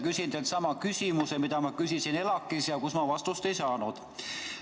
Küsin teilt sama küsimuse, mida ma küsisin ELAK-is ja millele ma vastust ei saanud.